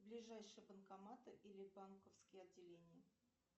ближайшие банкоматы или банковские отделения